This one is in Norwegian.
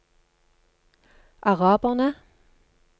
araberne